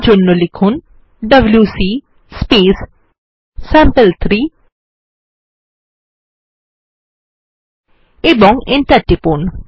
তার জন্য লিখুন ডব্লিউসি স্যাম্পল3 এবং এন্টার টিপুন